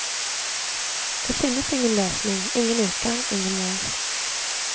Det finnes ingen løsning, ingen utgang, ingen mål.